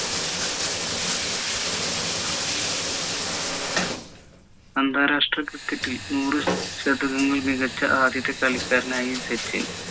അന്താരാഷ്ട്ര cricket ൽ നൂറി ശതങ്ങൾ മികച്ച ആദ്യത്തെ കളിക്കാരനായി സച്ചിൻ